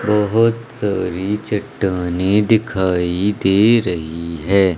बहोत सारी चट्टाने दिखाई दे रही हैं।